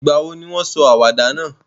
Ìgbàwo ni won sọ àwàdà náà?